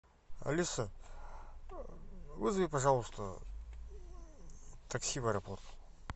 алиса вызови пожалуйста такси в аэропорт